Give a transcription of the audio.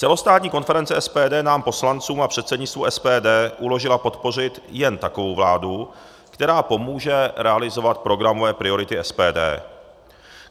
Celostátní konference SPD nám poslancům a předsednictvu SPD uložila podpořit jen takovou vládu, která pomůže realizovat programové priority SPD.